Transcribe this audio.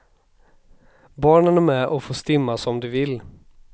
Barnen är med och får stimma som de vill.